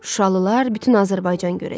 Şuşalılar, bütün Azərbaycan görəcək.